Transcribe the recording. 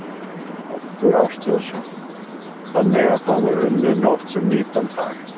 Oddur Ástráðsson: Þannig að það var unnið nótt sem nýtan dag?